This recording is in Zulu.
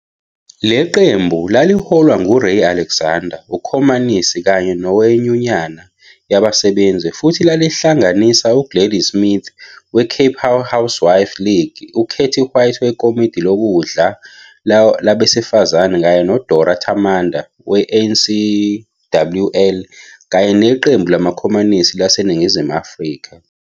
Leqembu laliholwa nguRay Alexander, ukhomanisi kanye nowenyunyana yabasebenzi, futhi lalihlanganisa uGladys Smith we-Cape Housewives' League, uKatie White weKomidi Lokudla Lwabesifazane, kanye noDora Tamanda we-ANCWL kanye neQembu LamaKhomanisi laseNingizimu Afrika.